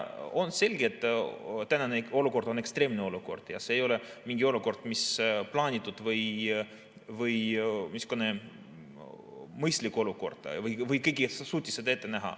On selge, et tänane olukord on ekstreemne ja see ei ole mingi olukord, mis on plaanitud või mõistlik, või kas keegi suutis seda ette näha.